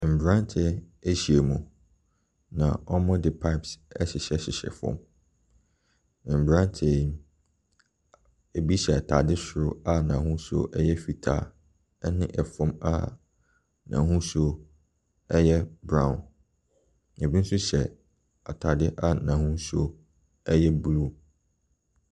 Mmraateɛ ahyia mu, na wɔde pipes hyehyɛ fam. Mmranteɛ yi, ebi hyɛ ataade soro a n'ahosuo yɛ fitaa ne fam n'ahosuo yɛ brown. Ebi nso hyɛ ataade a n'ahosuo yɛ blue.